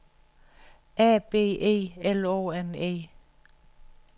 A B E L O N E